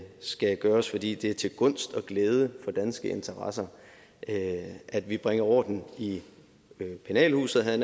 skal gøres fordi det er til gunst og glæde for danske interesser at at vi bringer orden i penalhuset havde